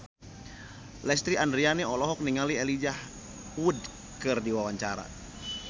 Lesti Andryani olohok ningali Elijah Wood keur diwawancara